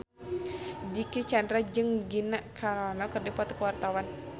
Dicky Chandra jeung Gina Carano keur dipoto ku wartawan